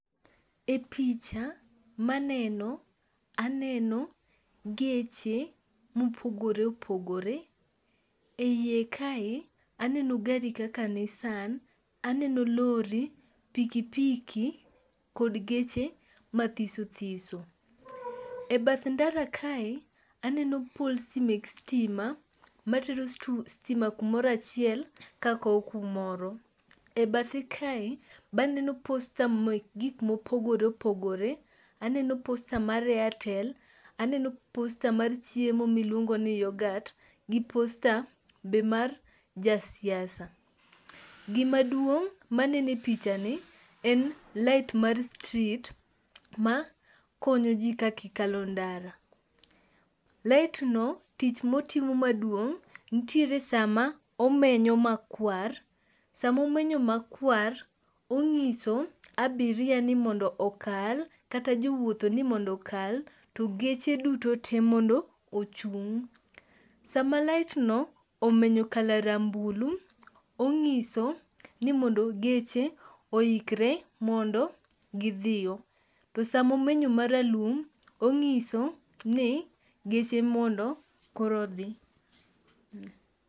E picha maneno aneno geche mopogore opogore ,e iye kae aneno gari kaka Nissan, aneno lori, pikipiki kod geche mathis thiso,e bath ndara kae, aneno poles mek stima, matero stima kumoro achiel kakowo kumoro. E bathe kae, be aneno posture mar airtel, aneno posture mar chiemo miluongoni yogat, gi psture be mar jasiasa. gimaduong' maneno e pichani en light mar street makonyo ji ka gi kalo ndara. light no, tich motimo maduong' nitiere sama omenyo makwar, sama omenyo makwar, ong'iso abiria ni mondo okal, to geche duto te mondo ochung'. Sama light no omenyo colour rambulu, ong'iso ni mondo geche oikre mondo gidhiyo. To sama omenyo maralum, ong'iso ni geche mondo koro odhi.